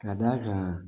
Ka d'a kan